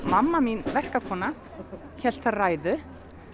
mamma mín verkakonan hélt ræðu